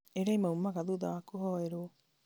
iria imaumaga thutha wa kũhoerwo